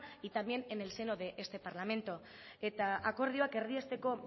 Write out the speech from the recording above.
y también en el seno de este parlamento eta akordioak erdiesteko